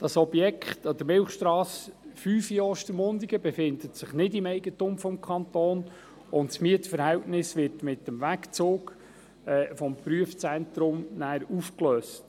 Das Objekt an der Milchstrasse 10 in Ostermundigen befindet sich nicht im Eigentum des Kantons, und das Mietverhältnis wird mit dem Wegzug des Prüfungszentrums aufgelöst.